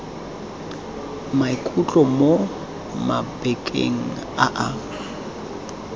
maikutlo mo mabakeng a a